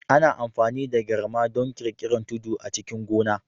Ana amfani da garma don ƙirƙirar tudu a cikin gona